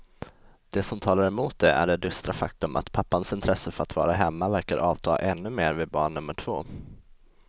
Det som talar emot det är det dystra faktum att pappans intresse för att vara hemma verkar avta ännu mer vid barn nummer två.